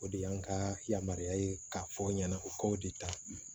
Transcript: O de y'an ka yamaruya ye k'a fɔ ɲɛna u k'o de ta